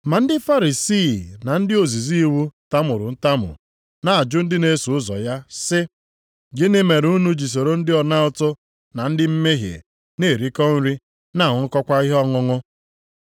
Ma ndị Farisii na ndị ozizi iwu tamuru ntamu na-ajụ ndị na-eso ụzọ ya sị, “Gịnị mere unu ji soro ndị ọna ụtụ na ndị mmehie na-erikọ nri na-aṅụkọkwa ihe ọṅụṅụ?”